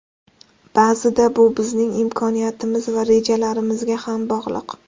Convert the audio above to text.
Ba’zida bu bizning imkoniyatimiz va rejalarimizga ham bog‘liq.